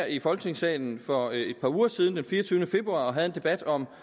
i folketingssalen for et par uger siden den fireogtyvende februar havde en debat om